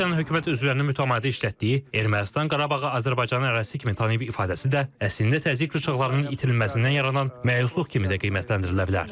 Rusiyanın hökumət üzvlərini mütəmadi işlətdiyi, Ermənistan Qarabağı Azərbaycanın ərazisi kimi tanıyıb ifadəsi də əslində təzyiq rıçaqlarının itirilməsindən yaranan məyusluq kimi də qiymətləndirilə bilər.